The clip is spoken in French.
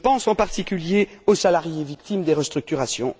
Je pense, en particulier, aux salariés victimes des restructurations.